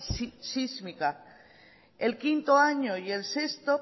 sísmica el quinto año y el sexto